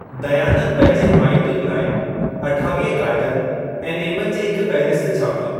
दयानंद पंहिंजे हिमायतुयुनि लाइ अठावीह कायदनि ऐं नेमनि जी हिक फहिरिस्त छापी।